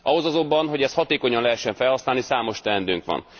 Ahhoz azonban, hogy ezt hatékonyan lehessen felhasználni, számos teendőnk van.